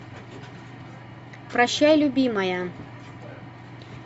прощай любимая